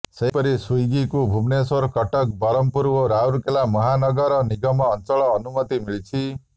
ସେହିପରି ସ୍ବୀଗୀକୁ ଭୁବନେଶ୍ବର କଟକ ବ୍ରହ୍ମପୁର ଓ ରାଉରକେଲା ମହାନଗର ନିଗମ ଆଞ୍ଚଲ ଅନୁମତି ମିଳିଛି